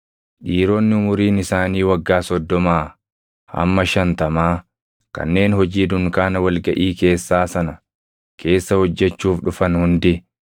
Dhiironni umuriin isaanii waggaa soddomaa hamma shantamaa kanneen hojii dunkaana wal gaʼii keessaa sana keessa hojjechuuf dhufan hundi